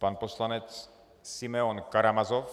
Pan poslanec Simeon Karamazov.